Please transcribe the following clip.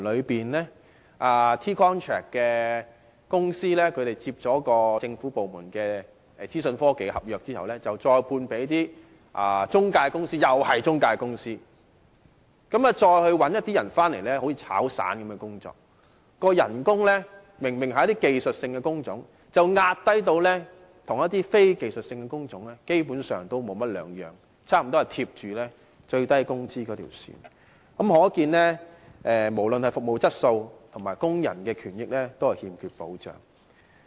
這些提供 T-contract 的公司承接了政府部門的資訊科技合約後，再外判給一些中介公司——又是中介公司——再聘用一些人，工作形式像"炒散"般，明明是技術性工種，工資卻被壓低至與非技術性工種無異，差不多貼近最低工資，可見不論是服務質素或工人權益，均欠缺保障。